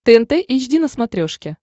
тнт эйч ди на смотрешке